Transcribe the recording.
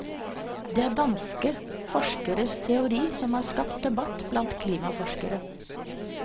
Det er danske forskeres teori som har skapt debatt blant klimaforskere.